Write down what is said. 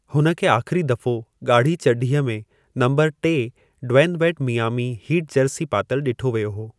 हुन खे आख़िरी दफ़ो ॻाढ़ी चढीअ में नंबरु टे ड्वेनु वेडु मियामी हीट जर्सी पातलु ॾिठो वियो हो।